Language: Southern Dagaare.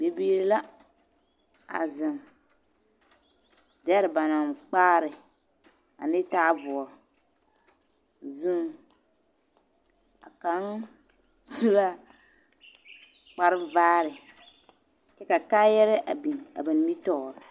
Bibiiri la a zeŋ dɛre ba naŋ kpaare ane taaboore zuŋ a kaŋ su la kparvaare kyɛ ka kaayɛrɛɛ biŋ a ba nimitɔɔre.